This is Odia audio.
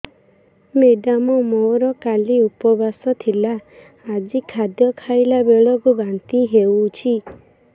ମେଡ଼ାମ ମୋର କାଲି ଉପବାସ ଥିଲା ଆଜି ଖାଦ୍ୟ ଖାଇଲା ବେଳକୁ ବାନ୍ତି ହେଊଛି